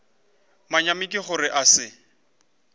manyami ke gore a se